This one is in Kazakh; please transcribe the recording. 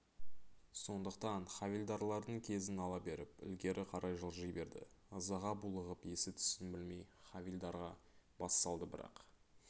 сондықтан хавильдарлардың кезін ала беріп ілгері қарай жылжи берді ызаға булығып есі-түсін білмей хавильдарға бассалды бірақ